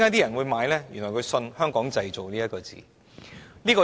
因為他們相信"香港製造"這幾個字。